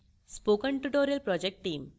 spoken tutorial project team